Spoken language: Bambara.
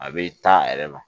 A bɛ taa a yɛrɛ ma